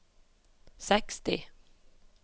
seksti